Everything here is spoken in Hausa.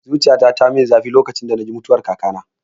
Zuciyata tayi mun zafi lokacin da naji mutuwar kakana